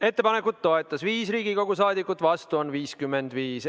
Ettepanekut toetas 5 Riigikogu liiget, vastu oli 55.